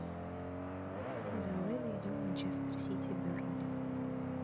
давай найдем манчестер сити бернли